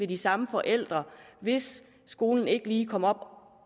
de samme forældre hvis skolen ikke lige kommer